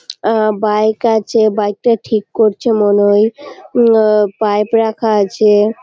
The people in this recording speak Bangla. উমম বাইক আছে বাইকটা ঠিক করছে মনে হয় উমম পাইপ রাখা আছে ।